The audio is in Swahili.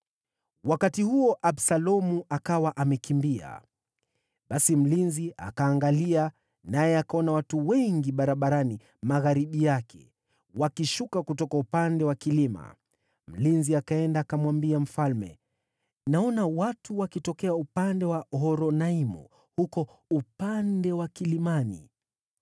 Wakati huo, Absalomu akawa amekimbia. Basi mlinzi akaangalia, naye akaona watu wengi barabarani magharibi yake, wakishuka kutoka upande wa kilima. Mlinzi akaenda akamwambia mfalme, “Naona watu wakitokea upande wa Horonaimu, huko upande wa kilimani.”